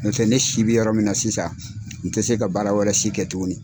N'o tɛ ne si bɛ yɔrɔ min na sisan n tɛ se ka baara wɛrɛ si kɛ tuguni.